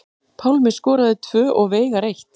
Pálmi skoraði tvö og Veigar eitt